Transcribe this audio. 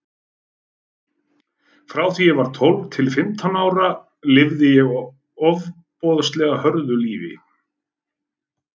Frá því að ég var tólf til fimmtán ára lifði ég ofboðslega hörðu lífi.